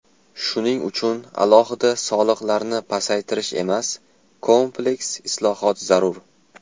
Shuning uchun alohida soliqlarni pasaytirish emas, kompleks islohot zarur.